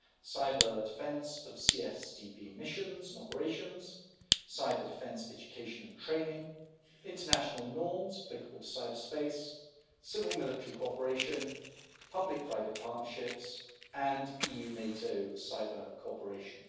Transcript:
Cyber-defence of CSDP missions and operations, cyber-defence education and training, international norms applicable to cyberspace, civil military cooperation, public-private partnerships and EU NATO cyber-cooperation.